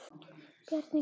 Bjarni Gunnar.